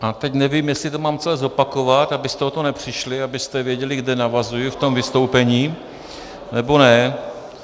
A teď nevím, jestli to mám celé zopakovat, abyste o to nepřišli, abyste věděli, kde navazuji v tom vystoupení, nebo ne.